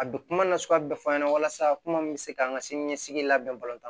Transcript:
A bɛ kuma nasuguya bɛɛ fɔ an ɲɛna walasa kuma min bɛ se k'an ka sini ɲɛsigi labɛn